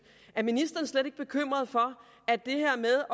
er ministeren slet ikke bekymret for at det her med